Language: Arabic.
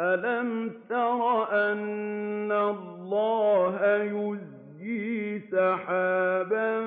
أَلَمْ تَرَ أَنَّ اللَّهَ يُزْجِي سَحَابًا